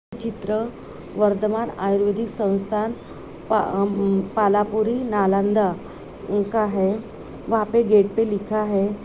चित्र वर्धमान आयुर्वेदिक संस्थान प-अ-उम-पालापुरी नालन्दा का है वहां पे गेट पे लिखा है।